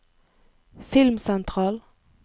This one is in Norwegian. filmsentral